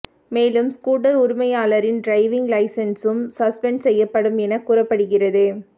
மேலும் ஸ்கூட்டர் உரிமையாளரின் டிரைவிங் லைசென்சும் சஸ்பெண்ட் செய்யப்படும் என கூறப்படுகிறது